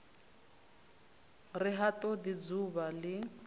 ri ha todi dzuvha li